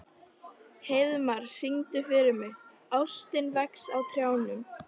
Heiðmar, syngdu fyrir mig „Ástin vex á trjánum“.